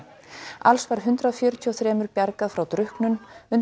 alls var hundrað fjörutíu og þrjú bjargað frá drukknun undan